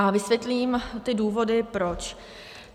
A vysvětlím ty důvody proč.